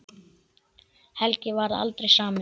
Helgi varð aldrei samur.